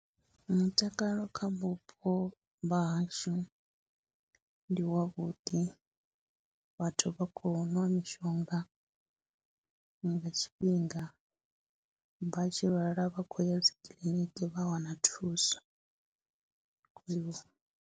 Mutakalo kha vhupo vha hashu ndi wavhuḓi, vhathu vha khou nwa mishonga nga tshifhinga, vha tshi lwala vha khou ya dzi kiḽiniki vha wana thuso khwiṋe.